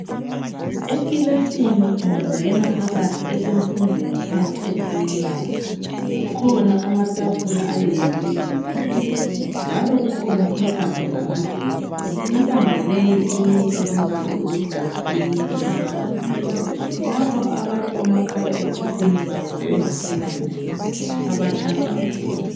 Ekilasini ungangena phakathi eyemfundo yaphansi eprimary kukhona amatafula ayenziwe ngezigodo njalo kukhona intambo zamagetsi, intambo leyi eyinye ilombala oluhlaza eyinye ilombala omhlophe lapho abathi omakhalekhukhwini babo sebengaselamlilo abatshaja khona.